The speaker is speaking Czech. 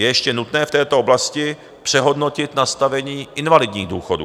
Je ještě nutné v této oblasti přehodnotit nastavení invalidních důchodů.